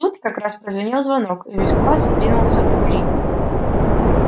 тут как раз прозвенел звонок и весь класс ринулся к двери